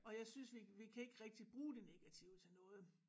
Og jeg synes vi vi kan ikke rigtig bruge det negative til noget